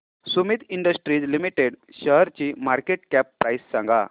Sumeet industries limited शेअरची market cap price सांगा